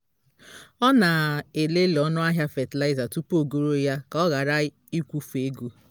ọ na-elele ọnụ ahịa fatịlaịza tupu ogoro ya ka ọ ghara ịkwụfe ego